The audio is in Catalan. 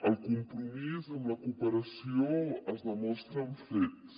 el compromís amb la cooperació es demostra amb fets